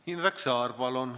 Indrek Saar, palun!